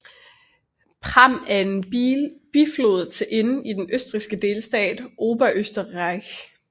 Pram er en biflod til Inn i den østrigske delstat Oberösterreich